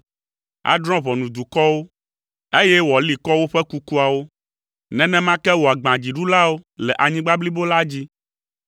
Adrɔ̃ ʋɔnu dukɔwo, eye wòali kɔ woƒe kukuawo, nenema ke wòagbã dziɖulawo le anyigba blibo la dzi.